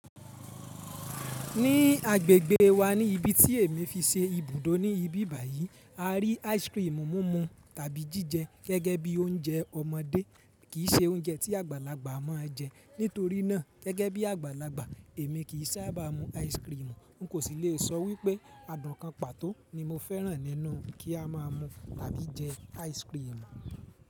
Ní agbègbè wa ni ibi tí èmi fi ṣe ibùdó ní ibi báyìí, a rí ice cream mumu tàbí jíjẹ gẹ́gẹ́ bí oúnjẹ ọmọdé kì í ṣe oúnjẹ tí àgbàlagbà mọ́ jẹ. Nítorí náà gẹ́gẹ́ bí àgbàlagbà, èmi kì í sábà mú ice cream. N kò sì lè sọ wípé adùn kan pàtó ni mo fẹ́ràn nínú kí a máa mú tàbí jẹ ice cream.